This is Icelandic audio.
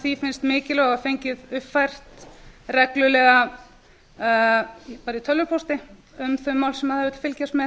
því finnst mikilvæg og fengið uppfært reglulega bara í tölvupósti um þau mál sem það hefur verið að fylgjast með